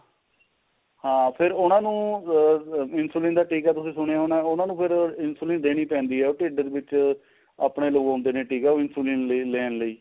ਹਾਂ ਫੇਰ ਉਹਨਾ ਨੂੰ ਆ insulin ਦਾ ਟਿਕਾ ਤੁਸੀਂ ਸੁਣਿਆ ਹੋਣਾ ਉਹਨਾ ਨੂੰ ਫੇਰ insulin ਦੇਣੀ ਪੈਂਦੀ ਏ ਢਿਡ ਵਿੱਚ ਆਪਣੇ ਲਗਾਉਂਦੇ ਨੇ ਟਿਕਾ insulin ਲੀ ਲੈਣ ਲਈ